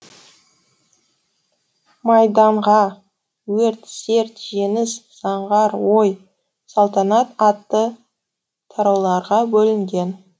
майданға өрт серт жеңіс заңғар ой салтанат атты тарауларға бөлінген